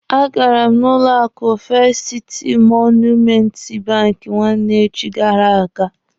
A gara m n'ụlọ akụ Festi Siti Monumenti banki nwanne echi gara aga.